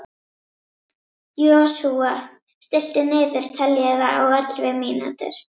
Joshua, stilltu niðurteljara á ellefu mínútur.